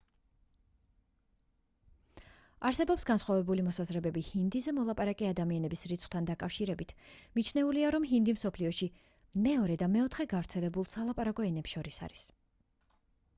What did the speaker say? არსებობს განსხვავებული მოსაზრებები ჰინდიზე მოლაპარაკე ადამიანების რიცხვთან დაკავშირებით მიჩნეულია რომ ჰინდი მსოფლიოში მეორე და მეოთხე გავრცელებულ სალაპარაკო ენებს შორის არის